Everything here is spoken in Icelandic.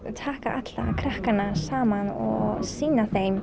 taka alla krakkana saman og sýna þeim